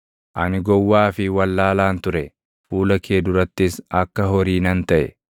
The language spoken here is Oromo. ani gowwaa fi wallaalaan ture; fuula kee durattis akka horii nan taʼe.